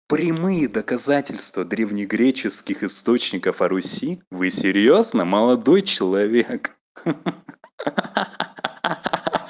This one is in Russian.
прямые доказательства древнегреческих источников о руси вы серьёзно молодой человек